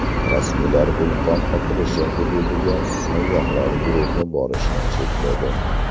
Rasmiylar vulqon otilishi hududiga sayyohlar guruhi borishini chekladi.